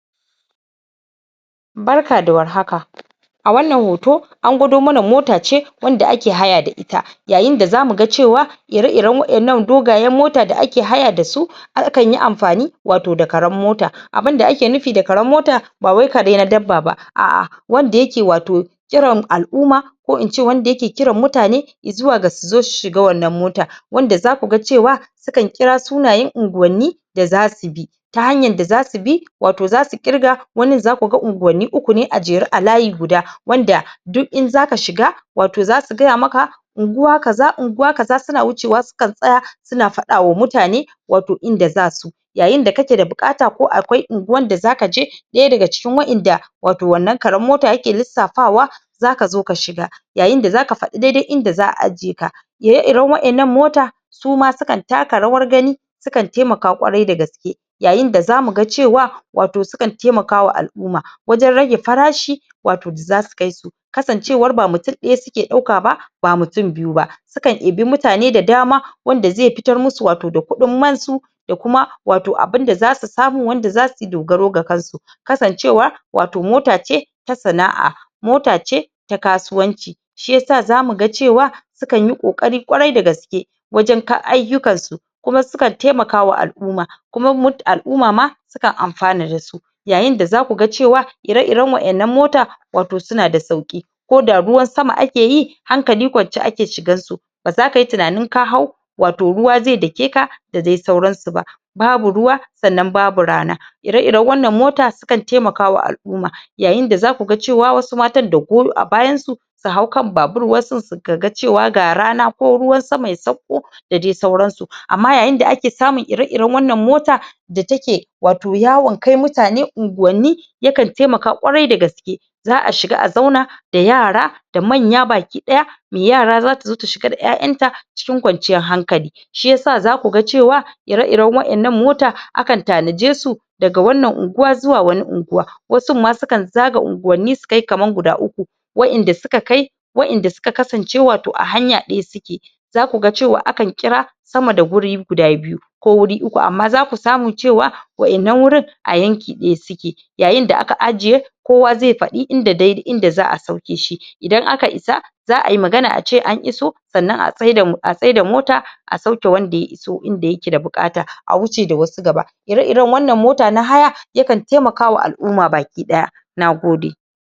barka da war haka a wannan hoto an gwado mana mota ce wanda ake haya da ita yayin da zamu ga cewa ire iren wa'ennan dogayen mota da ake haya dasu akanyi amfani wato da karen mota abunda ake nufi da karen mota bawai kare na dabba ba wanda yake wato kiran al'umma ko ince wanda yake kiran mutane zuwa ga su zo su shiga wannan mota wanda zakuga cewa sukan kira sunayen unguwani da zasu je ta hanyan dazu bi wato zasu ƙirga wanin zakuga unguwanni uku ne a jere a layi guda wanda duk in zaka shiga wato zasu gaya maka unguwa kaza unguwa kaza suna wucewa su kan tsaya suna fada wa mutane wato inda zasu yayin kake da bukata ko akwai unguwan da zaka je daya daga cikin wa'enda wato wannan karen mota yake lissafawa zaka zo ka shiga yayin da zaka faɗi dai dai inda za'a ajiye ka ire iren wa'ennan mota suma sukan taka rawan gani sukan taimaka ƙwari dagaske yayin da zamu ga cewa sukan taimaka wa al'umma wajen rage farashi wato da zasu kai su ksancewar ba mutum daya suka dauka ba ba mutun biyu ba su kan ɗibi mutane da dama wanda zai fitar musu wato da kuɗin man su da kuma wato abunda zasu samu wanda zasuyi dogaro ga kan su kasancewar wato mota ce ta sana'a mota ce ta kasuwanci shiyasa zamu ga cewa su kanyi kokari ƙwarai dagaske wajen aiyukan su kuma sukan taimaka wa al'umma kuma al'umma ma sukan amfana dasu yayin da zaku ga cewa ireiren wa'ennan mota wato suna da sauƙi koda ruwan sama akeyi hankali ƙwance ake shigan su baza kayi tunanin ka hau wato ruwa zai duke ka da dai sauran su babu ruwa sannan babu rana ire iren wannan moto sukan taimaka wa al'umma yayin da zaku ga cewa wasu mata da goyo a bayan su su hau kan babur wasu kaa cewa ga rana ko ruwan sama ya sauko da dai sauran su amma yayin da ake samu ire iren wannan mota da suke wato yawon kai mutane unguwanni yakan taimaka ƙwarai dagaske za'a shiga a zauna da yara da manya baki daya mai yara zata zo ta shiga da 'ya'yan ta cikin ƙwanciyan hankali shiyasa zaku ga cewa ire iren wa'ennan mota akan tanije su daga wannan unguwa zuwa wani unguwa wasun ma sukan zaga unguwanni su kai kaman guda uku wa'en da suka kai wa'en da suka kasance wato a hanya daya suke zakuga cewa akan kira sama da guri guda biyu ko wuri uku amma zaku samu cewa wa'ennan wurin a yanki daya suke yayin da aka ajiye kowa zai faɗi inda za'a sauke shi idan aka isa za'ayi magana ace an iso sannan a tsaida mota a sauke wanda ya iso inda yake bukata a wuce da wasu gaba ire iren wannan mota na haya yakan taimakawa al'umma baki daya nagode